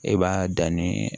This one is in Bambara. E b'a dan nii